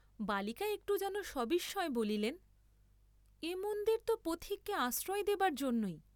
বালিকা একটু যেন সবিস্ময়ে বলিলেন, এ মন্দির ত পথিককে আশ্রয় দেবার জন্যেই।